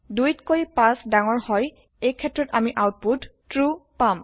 ২তকৈ ৫ ডাঙৰ হয় এই ক্ষেত্ৰত আমি আওতপুত ট্ৰো পাম